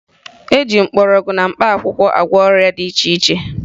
E ji mgbọrọgwụ na mkpaakwụkwọ agwọ ọrịa dị iche iche